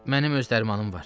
Mənim öz dərmanım var.